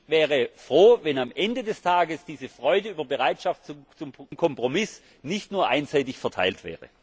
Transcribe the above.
Ich wäre froh, wenn am Ende des Tages diese Freude über Bereitschaft zum Kompromiss nicht nur einseitig verteilt wäre.